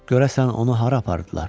Görəsən onu hara apardılar?